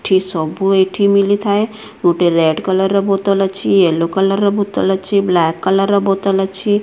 ଏଇଠି ସବୁ ଏଇଠି ମିଳିଥାଏ ଗୋଟେ ରେଡ୍ କଲର ବୋତଲ ଅଛି ୟେଲ୍ଲୋ କଲର ବୋତଲ ଅଛି ବ୍ଲାକ୍ କଲର ବୋତଲ ଅଛି